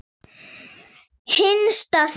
Hinsta þín.